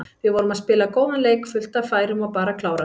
Vorum að spila góðan leik, fullt af færum og bara klárað.